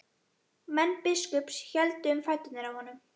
Menn biskups héldu um fætur honum.